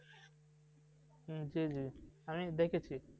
হুম জি জি আমি দেখেছি।